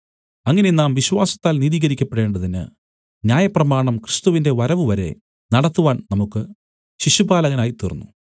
അങ്ങനെ നാം വിശ്വാസത്താൽ നീതീകരിക്കപ്പെടേണ്ടതിന് ന്യായപ്രമാണം ക്രിസ്തുവിന്റെ വരവു വരെ നടത്തുവാൻ നമുക്ക് ശിശുപാലകനായി തീർന്നു